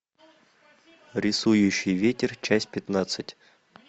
рисующий ветер часть пятнадцать